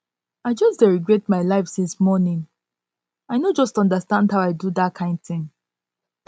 i just dey regret my life since my life since morning i no just understand how i do dat kin thing